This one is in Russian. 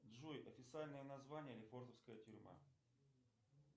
джой официальное название лефортовская тюрьма